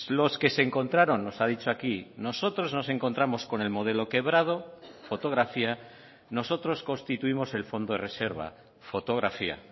los que se encontraron nos ha dicho aquí nosotros nos encontramos con el modelo quebrado fotografía nosotros constituimos el fondo de reserva fotografía